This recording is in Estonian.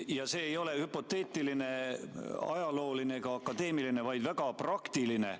See küsimus ei ole hüpoteetiline, ajalooline ega akadeemiline, vaid väga praktiline.